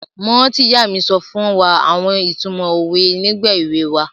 Mo rántí ìyá mi so fún wa àwon itumo owe nígbà ewe wa